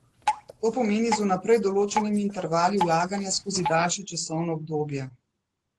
To pomeni z vnaprej določenimi intervali vlaganja skozi daljše časovno obdobje.